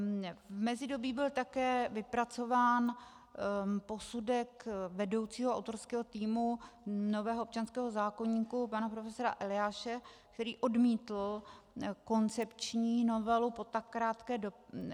V mezidobí byl také vypracován posudek vedoucího autorského týmu nového občanského zákoníku, pana profesora Eliáše, který odmítl koncepční novelu po tak krátké době.